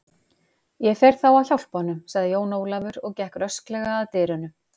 Ég fer þá að hjálpa honum, sagði Jón Ólafur og gekk rösklega að dyrunum.